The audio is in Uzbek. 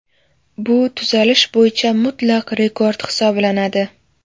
Bu tuzalish bo‘yicha mutlaq rekord hisoblanadi .